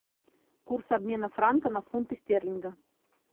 курс обмена франка на фунты стерлинга